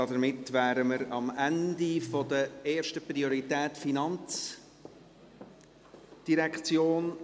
Damit sind wir am Ende der Geschäfte erster Priorität der FIN.